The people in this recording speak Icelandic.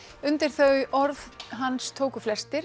undir þau orð hans tóku flestir